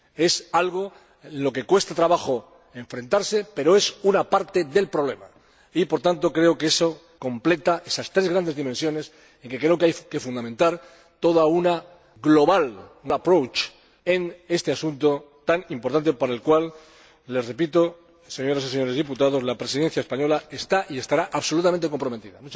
Es algo a lo que cuesta trabajo enfrentarse, pero es una parte del problema y, por tanto, creo que completa esas tres grandes dimensiones en que creo que hay que fundamentar todo un global approach en este asunto tan importante, para el cual les repito, señoras y señores diputados, la Presidencia española está y estará absolutamente comprometida.